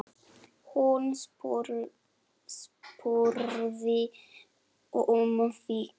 Hún spurði um þig.